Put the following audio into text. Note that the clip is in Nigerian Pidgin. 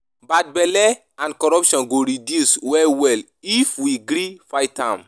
Bad belle and corruption go reduce well well if we gree fight am.